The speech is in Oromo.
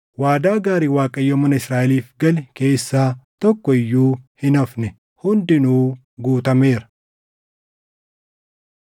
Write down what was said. Waadaa gaarii Waaqayyo mana Israaʼeliif gale keessaa tokko iyyuu hin hafne; hundinuu guutameera.